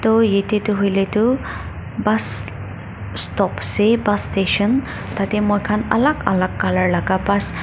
aru yate tu hoiley tu Bus stop ase bus station tah teh moikhan alag alag colour laga bus --